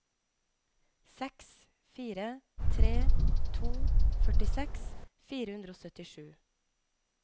seks fire tre to førtiseks fire hundre og syttisju